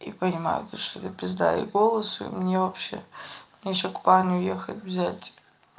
и понимаю то чтобы пизда и голос мне вообще ещё к парню ехать взять